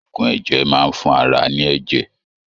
Oògùn ẹ̀jẹ̀ maá ń fún ara ní ẹ̀jẹ̀.